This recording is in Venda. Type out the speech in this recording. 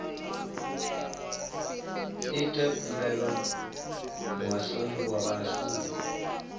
ite khumbelo muhashoni wa vhashumi